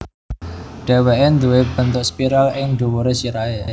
Dhèwèké nduwé bentuk spiral ing dhuwuré sirahé